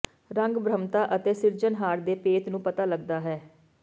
ਰੰਗ ਬ੍ਰਹਮਤਾ ਅਤੇ ਸਿਰਜਣਹਾਰ ਦੇ ਭੇਤ ਨੂੰ ਪਤਾ ਲੱਗਦਾ ਹੈ